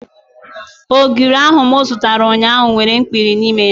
Ogiri ahu mụ zụtara ụnyaahụ nwere ikpiri n'ime ya